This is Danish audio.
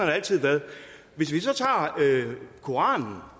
det altid været hvis vi så tager koranen